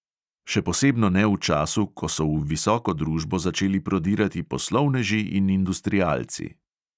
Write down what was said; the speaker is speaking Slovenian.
Še posebno ne v času, ko so v visoko družbo začeli prodirati poslovneži in industrialci.